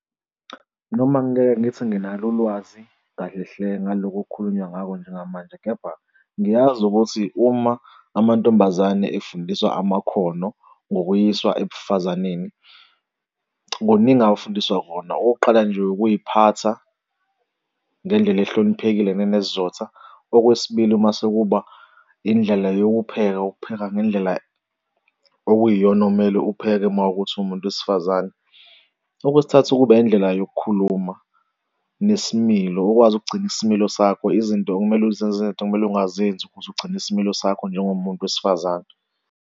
Noma ngingeke ngithi nginalo ulwazi kahle hle ngaloko okukhulunywa ngakho njengamanje. Kepha ngiyazi ukuthi uma amantombazane efundiswa amakhono ngokuyiswa ebufazaneni, kuningi awufundiswa kona. Okokuqala nje, ukuy'phatha ngendlela ohloniphekile nenesizotha. Okwesibili, uma sekuba indlela yokupheka ukupheka ngendlela okuyiyona omele upheke mawukuthi uwumuntu wesifazane. Okwesithathu, ukuba yindlela yokukhuluma nesimilo ukwazi ukugcina isimilo sakho izinto okumele uzenze izinto ekumele ungazenzi ukuze ugcine isimilo sakho njengomuntu wesifazane.